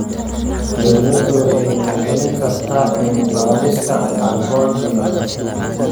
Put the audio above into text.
Dawladdu waxay maalgelin kartaa cilmi-baarista carbon dioxide.